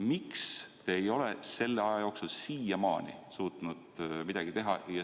Miks te ei ole selle aja jooksul siiamaani suutnud midagi teha?